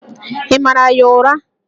Ị mara ya ụra?